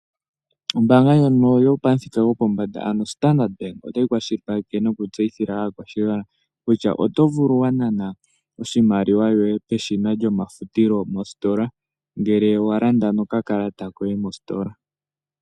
Ombaanga ndjono yopamuthika gopombanda ano Standard Bank otayi kwashilipaleke nokutseyithila aakwashigwana kutya oto vulu wa nana oshimaliwa shoye peshina lyomafutilo mostola, ngele wa landa nokakalata koye mostola.